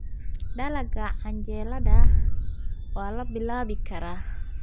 Dalagga canjeelada waa la bilaabi karaa.